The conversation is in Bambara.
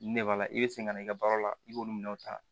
Ne b'a la i bɛ segin ka na i ka baara la i b'olu minɛnw ta